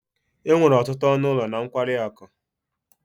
enwere ọtụtụ ọnụ ụlọ na nkwari akụ